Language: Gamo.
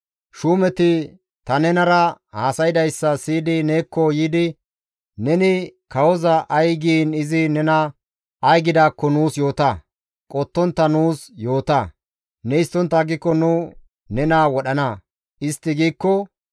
Shuumeti ta nenara haasaydayssa siyi neekko yiidi, ‹Neni kawoza ay giin izi nena ay gidaakko nuus yoota; qottontta nuus yoota; ne histtontta aggiko nu nena wodhana› istti giikko,